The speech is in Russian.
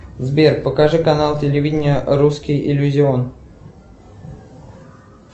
сбер покажи канал телевидения русский иллюзион